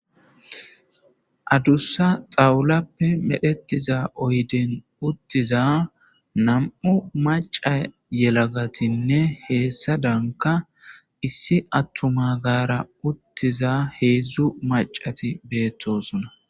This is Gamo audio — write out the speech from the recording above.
Adussa xawulappe oosetida oyden uttiza nam77u macca yelagatinne hessadanka issi atuma gara uttiza heedzdzu maccasati beetosona.